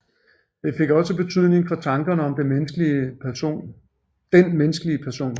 Det fik også betydning for tankerne om den menneskelige person